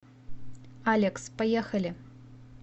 алекс поехали